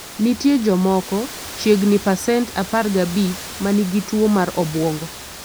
Nitie jomoko (chiegni pasent 15) ma nigi tuwo mar obwongo.